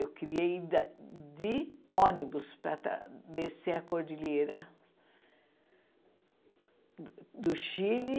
Eu queria ir da de ônibus para está descer a cordilheira do Chile.